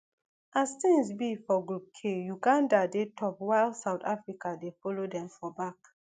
as tins be for group k uganda dey top while south africa dey follow dem for back